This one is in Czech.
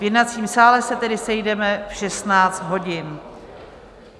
V jednacím sále se tedy sejdeme v 16 hodin.